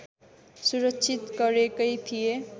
सुरक्षित गरेकै थिए